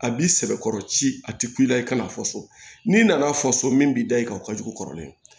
A b'i sɛbɛkɔrɔ ci a ti ku i la i ka n'a fɔ so n'i nana fɔ so min b'i da i kan o ka jugu kɔrɔlen